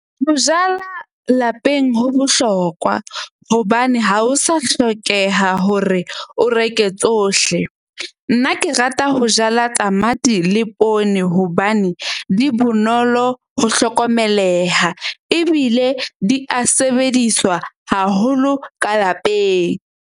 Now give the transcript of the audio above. Ho jala lapeng ho bohlokwa hobane ha ho sa hlokeha hore o reke tsohle. Nna ke rata ho jala tamati le poone hobane di bonolo ho hlokomeleha. Ebile di a sebediswa haholo ka lapeng.